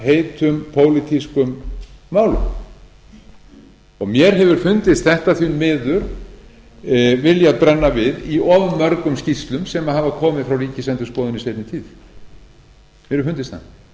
heitum pólitískum málum mér hefur fundist þetta því miður vilja brenna við í of mörgum skýrslum sem hafa komið frá ríkisendurskoðun í seinni tíð mér hefur fundist það